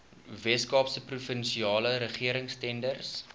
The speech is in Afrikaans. weskaapse provinsiale regeringstenders